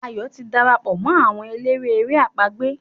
Ayo tí darapọ̀ mọ́ àwọn eléré èrè àpagbè.